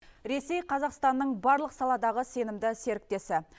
ресей қазақстанның барлық саладағы сенімді серіктесі